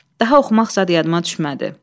Daha oxumaq zad yadıma düşmədi.